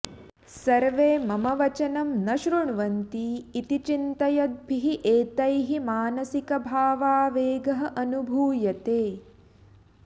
सर्वे मम वचनं न शृण्वन्ति इति चिन्तयद्भिः एतैः मानसिकभावावेगः अनुभूयते